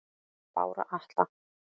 Bára Atla